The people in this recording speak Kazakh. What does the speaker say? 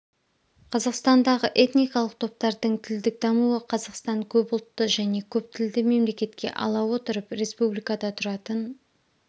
қазақстандағы этникалық топтардың тілдік дамуы қазақстан көп ұлтты және көп тілді мемлекетке ала отырып республикада тұратын